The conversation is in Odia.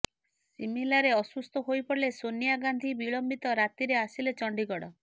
ସିମଲାରେ ଅସୁସ୍ଥ ହୋଇପଡ଼ିଲେ ସୋନିଆ ଗାନ୍ଧୀ ବିଳମ୍ବିତ ରାତିରେ ଆସିଲେ ଚଣ୍ଡିଗଡ଼